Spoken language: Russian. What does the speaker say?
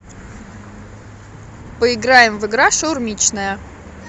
поиграем в игра шаурмичная